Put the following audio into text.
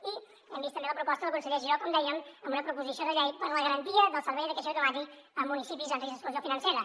i hem vist també la proposta del conseller giró com dèiem amb una proposició de llei per a la garantia del servei de caixer automàtic en municipis en risc d’exclusió financera